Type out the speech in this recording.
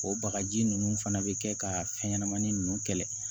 O bagaji nunnu fana be kɛ ka fɛn ɲɛnɛmani nunnu kɛlɛ